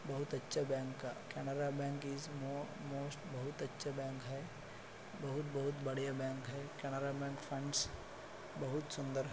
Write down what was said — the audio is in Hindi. बहुत अच्छा बैंक का केनरा बैंक इस मो मोस्ट बहुत अच्छा बैंक है बहुत बहुत बड़िया बैंक है केनरा बैंक फंड्ज बहुत सुंदर--